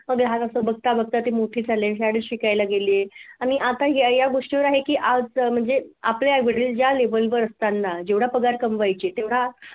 मग हे हाल असं बघता बघता ते मोठे झाले शाळेत शिकायला गेले आणि आता या गोष्टीवर आहे की आज म्हणजे आपले वडील ज्या level वर असताना जेवढा पगार कमवायचे तेवढा